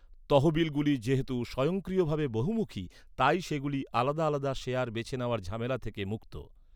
তহবিলগুলি যেহেতু স্বয়ংক্রিয়ভাবে বহুমুখী, তাই সেগুলি আলাদা আলাদা শেয়ার বেছে নেওয়ার ঝামেলা থেকে মুক্ত।